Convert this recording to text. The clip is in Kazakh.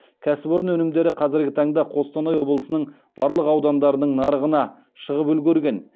кәсіпорын өнімдері қазіргі таңда қостанай облысының барлық аудандарының нарығына шығып үлгерген